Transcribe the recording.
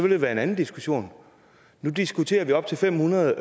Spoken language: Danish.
det være en anden diskussion nu diskuterer vi op til fem hundrede